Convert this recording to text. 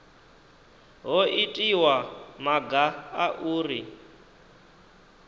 ho itiwa maga a uri